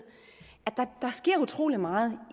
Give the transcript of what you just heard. at der sker utrolig meget